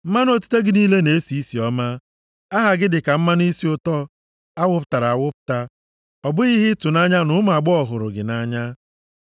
Mmanụ otite gị niile na-esi isi ọma, aha gị dịka mmanụ isi ụtọ awụpụtara awụpụta, ọ bụghị ihe ịtụnanya na ụmụ agbọghọ hụrụ gị nʼanya.